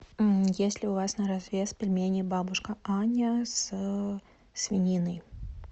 есть ли у вас на развес пельмени бабушка аня со свининой